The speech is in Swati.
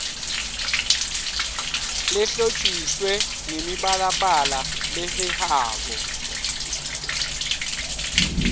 lehlotjiswe ngemibalabala lehehako